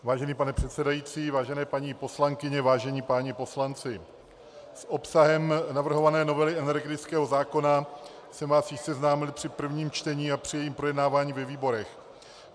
Vážený pane předsedající, vážené paní poslankyně, vážení páni poslanci, s obsahem navrhované novely energetického zákona jsem vás již seznámil při prvním čtení a při jejím projednávání ve výborech.